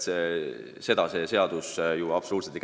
Seda see seadus ei puuduta.